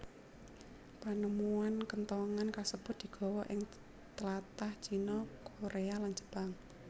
Panemuan kenthongan kasebut digawa ing tlatah China Korea lan Jepang